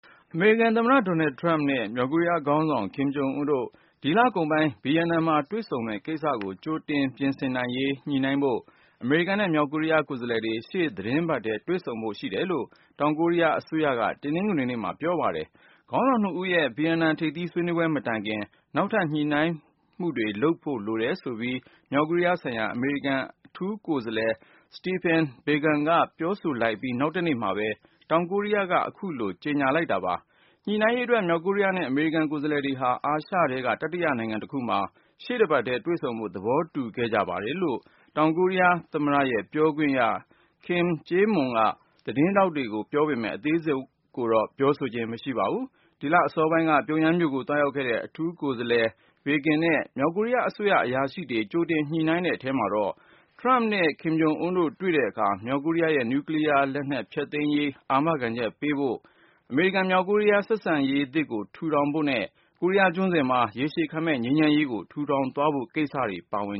အမေရိကန်သမ္မတ Donald Trump နဲ့ မြောက်ကိုရီးယားခေါင်းဆောင် Kim Jong Un တို့ ဒီလကုန်ပိုင်း ဗီယက်နမ်မှာ တွေ့ဆုံမယ့်ကိစ္စကို ကြိုတင်ပြင်ဆင်နိုင်ရေး ညှိနှိုင်းဖို့ ၊ အမေရိကန်နဲ့ မြောက်ကိုရီးယား ကိုယ်စားလှယ်တွေ ရှေ့သီတင်းပတ်ထဲ တွေ့ဆုံဖို့ ရှိတယ်လို့ တောင်ကိုရီးယားအစိုးရက တနင်္ဂနွေနေ့မှာ ပြောပါတယ်။ ခေါင်းဆောင် ၂ဦးရဲ့ ဗီယက်နမ် ထိပ်သီးဆွေးနွေးပွဲမတိုင်ခင် နောက်ထပ် ညှိနှိုင်းမှုတွေလုပ်ဖို့ လိုတယ်ဆိုပြီး မြောက်ကိုရီးယားဆိုင်ရာ အမေရိကန် အထူးကိုယ်စားလှယ် Stephen Biegun ကပြောဆိုလိုက်အပြီး နောက်တရက်မှာပဲ တောင်ကိုရီးယားက အခုလို ကြေညာလိုက် တာပါ။ ညှိနှိုင်းရေးအတွက် မြောက်ကိုရီးယားနဲ့ အမေရိကန် ကိုယ်စားလှယ်တွေဟာ အာရှထဲက တတိယနိုင်ငံတခုမှာ ရှေ့တပတ်ထဲ တွေ့ ဆုံဖို့ သဘောတူခဲ့ကြပါတယ်လို့ - တောင်ကိုရီးယား သမ္မတရဲ့ ပြောခွင့်ရ Kim Eui-kyeom ကသတင်းထောက်တွေကို ပြောပေမယ့် အသေးစိတ်ကို ပြောဆိုခြင်း မရှိပါဘူး။ ဒီလအစောပိုင်းက ပြုံယမ်းမြို့ကို သွားရောက်ခဲ့တဲ့ အထူးကိုယ်စားလှယ် Biegun နဲ့ မြောက်ကိုရီးယားအစိုးရ အရာရှိတွေ ကြိုတင်ညှိနှိုင်းတဲ့ အထဲမှာ ၊ ထရမ့်နဲ့ ကင်ဂျုံအွန်းတို့ တွေ့ဆုံတဲ့အခါ မြောက်ကိုရီးယားရဲ့ နူကလီးယားလက်နက် အစီအစဉ်ဖျက်သိမ်းရေး အာမခံချက်ပေးဖို့ ၊ အမေရိကန်-မြောက်ကိုရီးယား ဆက်ဆံရေးသစ် ထူထောင်ဖို့ အပါအဝင် ၊ ကိုရီးယားကျွန်းဆွယ်မှာ ရေရှည်ခံမယ့်ငြိမ်းချမ်းရေးကို ထူထောင်သွားရေး ကိစ္စတွေ ပါဝင်